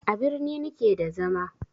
A birni ni ke da zama